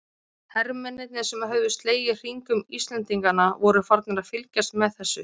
Hermennirnir sem höfðu slegið hring um Íslendingana voru farnir að fylgjast með þessu.